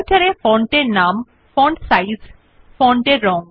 Writer এ font এর নাম ফন্ট সাইজ ফন্ট এর রং